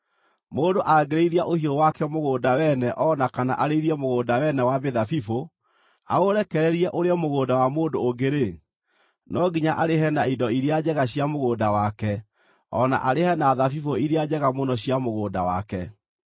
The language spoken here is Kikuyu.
“Mũndũ angĩrĩithia ũhiũ wake mũgũnda wene o na kana arĩithie mũgũnda wene wa mĩthabibũ, aũrekererie ũrĩe mũgũnda wa mũndũ ũngĩ-rĩ, no nginya arĩhe na indo iria njega cia mũgũnda wake o na arĩhe na thabibũ iria njega mũno cia mũgũnda wake.